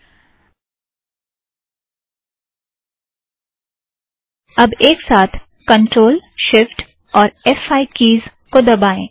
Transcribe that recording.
अब एक साथ ctrlshiftफ़5 keys control shift F five keys को दबाएं